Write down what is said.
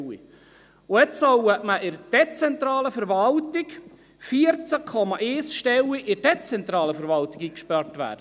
Und jetzt sollen in der dezentralen Verwaltung 14,1 Stellen eingespart werden!